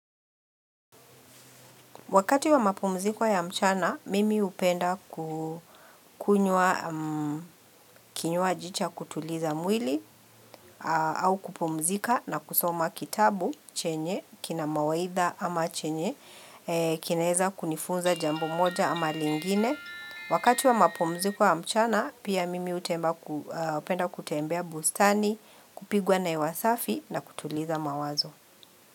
Wakati wa mapumziko ya mchana, mimi hupenda ku kinywa ji cha kutuliza mwili au kupumzika na kusoma kitabu chenye, kina mawaidha ama chenye, kinaeza kunifunza jambo moja ama lingine. Wakati wa mapumziko ya mchana, pia mimi hupenda kutembea bustani, kupigwa na hewasafi na kutuliza mawazo.